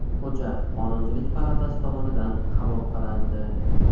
Hujjat Qonunchilik palatasi tomonidan qabul qilindi.